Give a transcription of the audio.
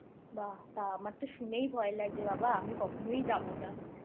বা আমার তো শুনেই ভয় লাগছে বাবা আমি কখনোই যাবো না